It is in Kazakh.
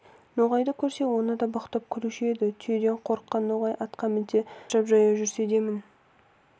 ноғайды көрсе оны да боқтап күлуші еді түйеден қорыққан ноғай атқа мінсе шаршап жаяу жүрсе демін